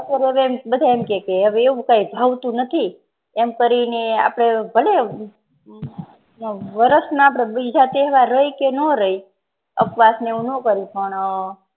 બધા એમ કહે કે એવું કઈ ભાવતું નથી એમ કરી ને ભલે વર્ષના બીજા તહેવાર રયે કે નો રયે અપવાશ ને એવું ન કરે પણ